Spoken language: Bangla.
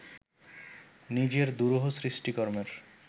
নিজের দুরূহ সৃষ্টিকর্মের